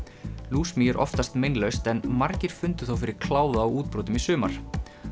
lúsmý er oftast meinlaust en margir fundu þó fyrir kláða og útbrotum í sumar